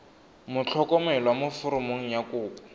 motlhokomelwa mo foromong ya kopo